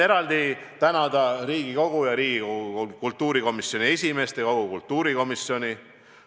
Eraldi tänan Riigikogu, kultuurikomisjoni esimeest ja kogu kultuurikomisjoni.